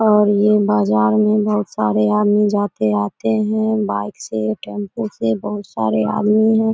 और ये बाजार मे बहुत सारे आदमी जाते आते है बाइक से टेंपू से बहुत सारे आदमी है।